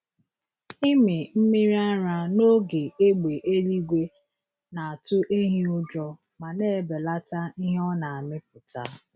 Ịmị mmiri ara n’oge égbè eluigwe na-atụ ehi ụjọ ma na-ebelata ihe ọ na-amịpụta.